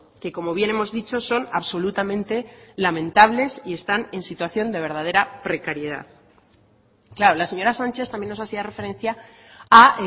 que como bien hemos dicho son absolutamente lamentables y están en situación de verdadera precariedad claro la señora sánchez también nos hacía referencia a